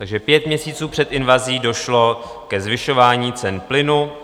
Takže pět měsíců před invazí došlo ke zvyšování cen plynu.